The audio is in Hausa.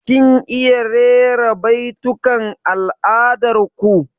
Kin iya rera baitukan al'adar ku?